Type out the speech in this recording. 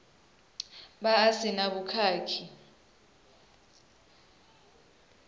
vha a si na vhukhakhi